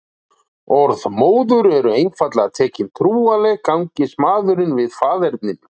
Orð móður eru einfaldlega tekin trúanleg gangist maðurinn við faðerninu.